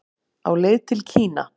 Á leið til Kína